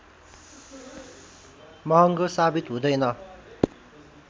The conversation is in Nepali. महँगो सावित हुँदैन